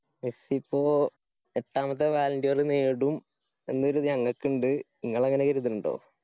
Messi ഇപ്പോ എട്ടാമത്തെ നേടും എന്നിത് ഞങ്ങക്കിണ്ട് ഇങ്ങള് അങ്ങനെ കരുതിണ്ണ്ടോ?